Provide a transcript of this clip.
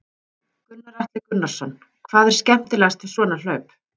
Gunnar Atli Gunnarsson: Hvað er skemmtilegast við svona hlaup?